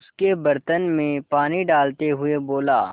उसके बर्तन में पानी डालते हुए बोला